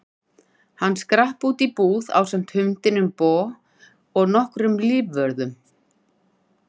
Hann skrapp út í búð ásamt hundinum Bo og nokkrum lífvörðum.